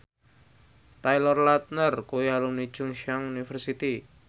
Taylor Lautner kuwi alumni Chungceong University